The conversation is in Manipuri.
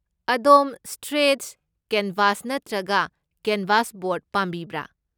ꯑꯗꯣꯝ ꯁ꯭ꯇ꯭ꯔꯦꯠꯆ ꯀꯦꯟꯚꯥꯁ ꯅꯠꯇ꯭ꯔꯒ ꯀꯦꯟꯚꯥꯁ ꯕꯣꯔꯗ ꯄꯥꯝꯕꯤꯕ꯭ꯔꯥ?